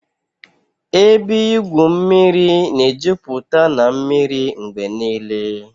Ebe igwu mmiri na-ejupụta na mmiri mgbe niile